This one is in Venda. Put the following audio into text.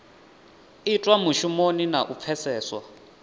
itwa mushumoni na u pfeseswa